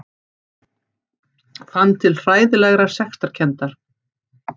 Fann til hræðilegrar sektarkenndar.